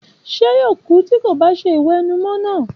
Ṣé yóò kú bí kò bá ṣe ìwẹ̀nùmọ́ náà?